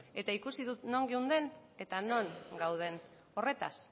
eta ikusi dut non geunden eta non gauden horretaz